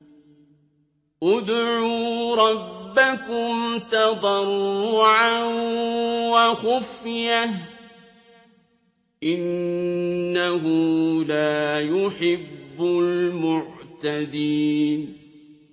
ادْعُوا رَبَّكُمْ تَضَرُّعًا وَخُفْيَةً ۚ إِنَّهُ لَا يُحِبُّ الْمُعْتَدِينَ